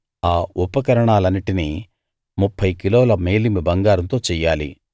ఆ ఉపకరణాలన్నిటిని 30 కిలోల మేలిమి బంగారంతో చెయ్యాలి